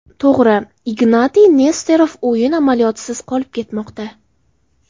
To‘g‘ri, Ignatiy Nesterov o‘yin amaliyotisiz qolib ketmoqda.